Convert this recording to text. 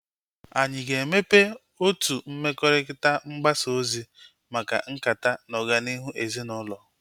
Anyị aga-emepe otu mmekọrịta mgbasa ozi maka nkata na ọganihu ezinaụlọ?